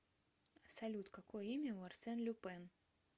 салют какое имя у арсен люпен